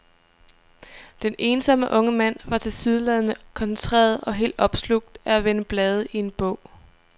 Den ensomme unge mand var tilsyneladende koncentreret og helt opslugt af at vende blade i en bog.